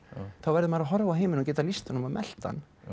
þá verður maður að horfa á heiminn og geta lýst honum og melt hann